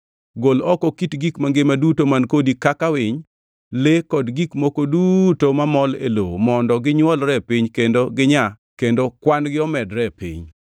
Gol oko kit gik mangima duto man kodi kaka winy, le kod gik moko duto mamol e lowo mondo ginywolre e piny kendo ginyaa kendo kwan-gi omedre e piny.”